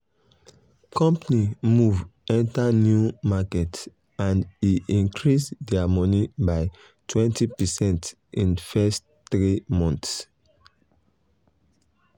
company move um enter new market and e increase their money um by 20 percent in first 3 months. um